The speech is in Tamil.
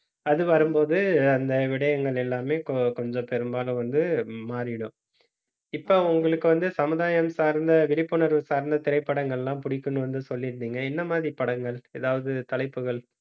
அது வரும்போது அந்த விடயங்கள் எல்லாமே கொ~ கொஞ்சம் பெரும்பாலும் வந்து மாறிடும். இப்ப உங்களுக்கு வந்து சமுதாயம் சார்ந்த விழிப்புணர்வு சார்ந்த திரைப்படங்கள் எல்லாம் பிடிக்கும்னு வந்து சொல்லி இருந்தீங்க. என்ன மாதிரி படங்கள் ஏதாவது தலைப்புகள்